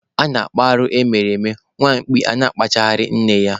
A na-akpụ arụ ndị mere eme, nwa mkpi a na-achụgharị nne ya.